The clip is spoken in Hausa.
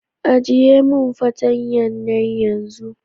ajiye min patanya na yanzu.